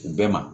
U bɛɛ ma